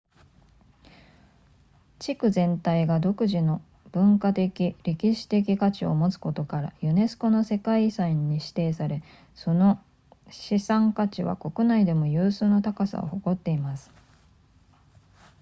地区全体が独自の文化的歴史的価値を持つことからユネスコの世界遺産に指定されその資産価値は国内でも有数の高さを誇っています